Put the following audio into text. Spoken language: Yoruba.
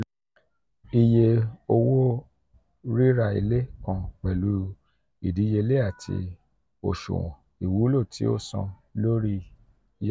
iye owo rira ile kan pẹlu idiyele ile ati oṣuwọn iwulo ti o san lori yá.